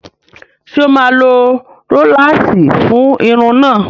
Ṣé o máa lo róláàsì fún irun náà?